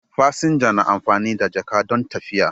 Fasinja na amfani da jaka don tafiya.